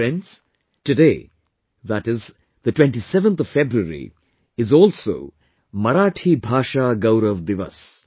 Friends, today, that is, 27th February is also Marathi Bhasha Gaurav Divas